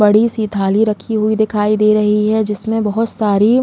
बड़ी से थाली रखी हुई दिखाई दे रही है जिसमें बहुत सारी --